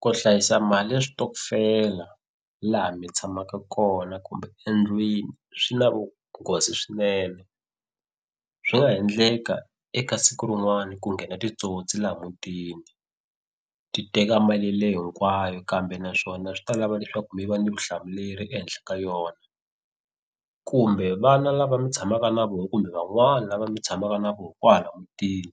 Ku hlayisa mali ya switokofela laha mi tshamaka kona kumbe endlwini swi na vunghozi swinene. Swi nga ha endleka eka siku rin'wana ku nghena titsotsi laha mutini ti teka mali leyo hinkwayo kambe naswona swi ta lava leswaku mi va ni vutihlamuleri ehenhla ka yona. Kumbe vana lava mi tshamaka na vona kumbe van'wana lava mi tshamaka na vona kwala mutini